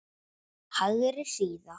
Hægri síða